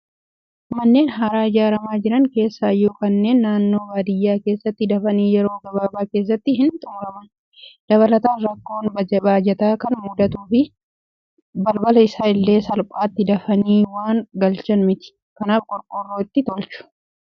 Manneen haaraa ijaaramaa jiran keessaayyuu kanneen naannoo baadiyyaa keessatti dafanii yeroo gabaabaa keessatti hin xumuraman. Dabalataan rakkoon baajataa waan mudatuuf, balbala isaa illee salphaatti dafanii waan galchan miti. Kanaaf qorqoorroo itti tolchu.